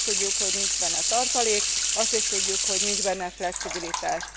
Azt is tudjuk, hogy nincs benne tartalék, azt is tudjuk, hogy nincs benne flexibilitás.